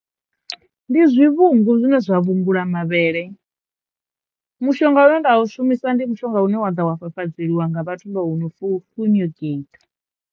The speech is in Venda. Ndi zwivhungu zwine zwa vhungula mavhele, mushonga une nda u shumisa ndi mushonga une wa ḓa wa fafadzeliwa nga vhathu vho no fu fumigeitha.